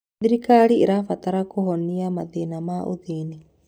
Thirikari ĩrabatara kũhonia mathĩna ma ũthĩĩni.